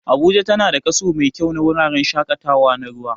Abuja tana da kaso mai kyau na wuraren shaƙatawa na ruwa